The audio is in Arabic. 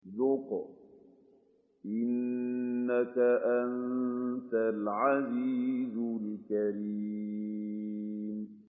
ذُقْ إِنَّكَ أَنتَ الْعَزِيزُ الْكَرِيمُ